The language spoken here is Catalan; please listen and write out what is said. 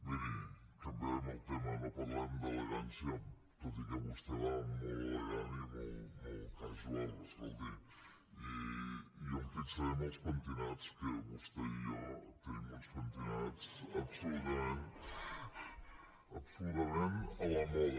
miri canviarem el tema no parlarem d’elegància tot i que vostè va molt elegant i molt casualels pentinats que vostè i jo tenim uns pentinats absolutament a la moda